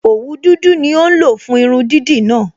Òwu dúdú ni ó ń lò fún irun dídì náà